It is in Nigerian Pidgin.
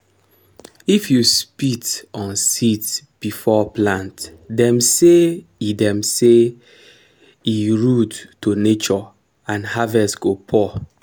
if you spit on seeds before plant dem say e dem say e rude to nature and harvest go poor.